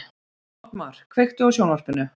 Oddmar, kveiktu á sjónvarpinu.